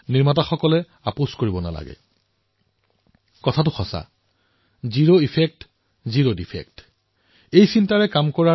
তেওঁ লিখিছে যে আমি আত্মনিৰ্ভৰ ভাৰতৰ সমৰ্থন কৰিছো কিন্তু আমাৰ নিৰ্মাণকাৰীসকলেও সামগ্ৰীসমূহৰ গুণগতমান যাতে কোনোগুণে হেৰফেৰ নহয় তাৰবাবও তেওঁলোকে লক্ষ্য কৰিব লাগে